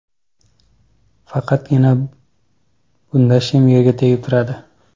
Faqatgina bunda shim yerga tegib turadi.